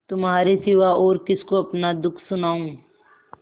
तुम्हारे सिवा और किसको अपना दुःख सुनाऊँ